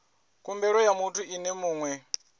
khumbelo ya muthu ene mue